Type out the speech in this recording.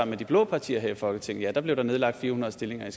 med de blå partier her i folketinget blev der nedlagt fire hundrede stillinger i